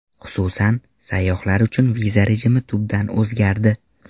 Xususan, sayyohlar uchun viza rejimi tubdan o‘zgardi.